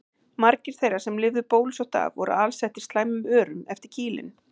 Margir þeirra sem lifðu bólusótt af voru alsettir slæmum örum eftir kýlin.